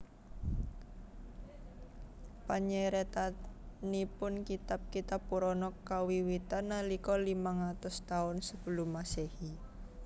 Panyeratanipun kitab kitab Purana kawiwitan nalika limang atus taun Sebelum Masehi